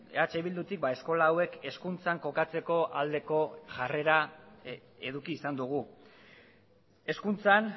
eh bildutik eskola hauek hezkuntzan kokatzeko aldeko jarrera eduki izan dugu hezkuntzan